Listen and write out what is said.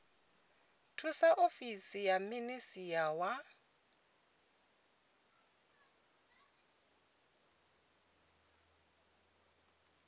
thusa ofisi ya minisia wa